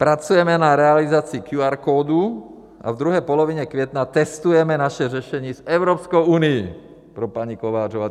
Pracujeme na realizaci QR kódu a ve druhé polovině května testujeme naše řešení s Evropskou unií, pro paní Kovářovou.